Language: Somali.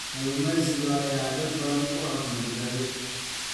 Kalluumeysiga ayaa dad badan u ah madadaalo.